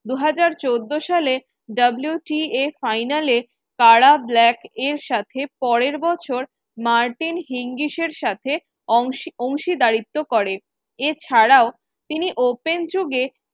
দু হাজার চোদ্দ সালে WTAfinal এ কারা ব্ল্যাক এর সাথে পরের বছর মার্টিনা হিঙ্গিস এর সাথে অংশ অংশীদারিত্ব করে এছাড়াও তিনি open যুগে